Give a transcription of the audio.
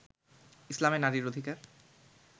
ইসলামে নারীর অধিকার